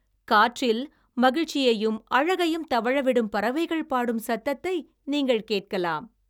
காற்றில் மகிழ்ச்சியையும் அழகையும் தவழவிடும் பறவைகள் பாடும் சத்தத்தை நீங்கள் கேட்கலாம்.